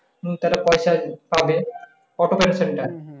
আহ তার পয়সা পাবে auto pension টা।